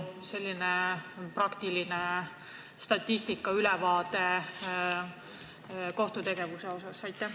Milline on selline statistiline ülevaade kohtutegevusest?